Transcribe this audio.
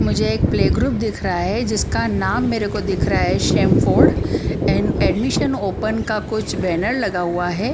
मुझे एक play group दिख रहा है जिसका नाम मेरेको दिख रहा है शैमफोर्ड एंड एडमिशन ओपन का कुछ बैनर लगा हुआ है।